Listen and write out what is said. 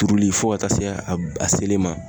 Turuli fo ka taa se a selen ma.